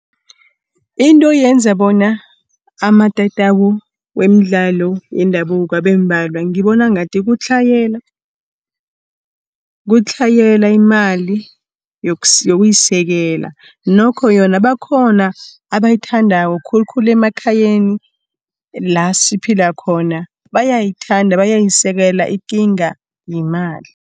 Into eyenza bona amatatawu weemdlalo yendabuko abembalwa, ngibona ngathi kutlhayela imali yokuyisekela nokho yona bakhona abayithandako khulukhulu emakhayeni la siphila khona. Bayayithanda, bayayisekela ikinga yimali.